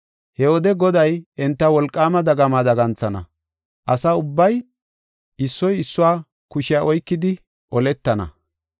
He wode Goday enta wolqaama dagama daganthana. Asa ubbay issoy issuwa kushiya oykidi oletana.